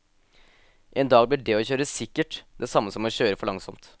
En dag blir det å kjøre sikkert det samme som å kjøre for langsomt.